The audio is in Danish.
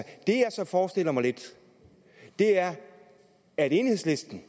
forestiller mig lidt er at enhedslisten